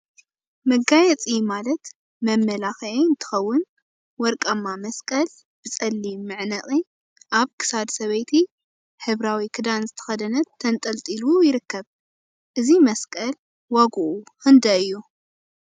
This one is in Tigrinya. መጋየፂ መጋየፂ ማለት መመላክዒ እንትኸውን፣ ወርቃማ መስቀል በፀሊም መዕነቂ አብ ክሳድ ሰበይቲ ሕብራዊ ክዳን ዝተከደነት ተንጠልጢሉ ይርከብ፡፡ እዚ መስቀል ዋግኡ ክንደይ እዩ?